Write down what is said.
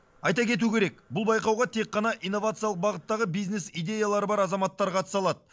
айта кету керек бұл байқауға тек қана инновациялық бағыттағы бизнес идеялары бар азаматтар қатыса алады